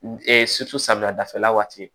samiya dafɛla waati